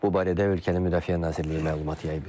Bu barədə ölkənin Müdafiə Nazirliyi məlumat yayıb.